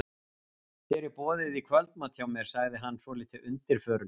Þér er boðið í kvöldmat hjá mér, sagði hann svolítið undirförull.